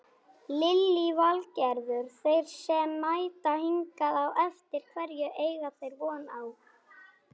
Lillý Valgerður: Þeir sem mæta hingað á eftir hverju eiga þeir von á?